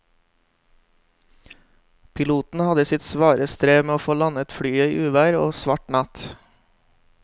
Piloten hadde sitt svare strev med å få landet flyet i uvær og svart natt.